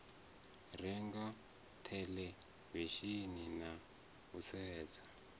renga theḽevishini na u sedza